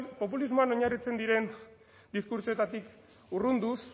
populismoan oinarritzen diren diskurtsoetatik urrunduz